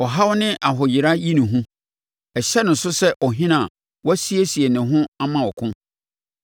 Ɔhaw ne ahoyera yi no hu; ɛhyɛ ne so sɛ ɔhene a wasiesie ne ho ama ɔko,